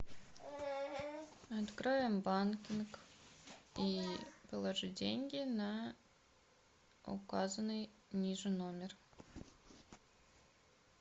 откроем банкинг и положи деньги на указанный ниже номер